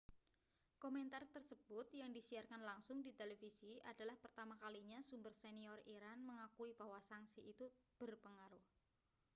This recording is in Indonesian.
komentar tersebut yang disiarkan langsung di televisi adalah pertama kalinya sumber senior iran mengakui bahwa sanksi itu berpengaruh